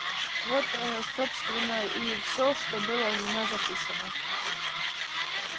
вот ээ собственно и всё что было у меня записано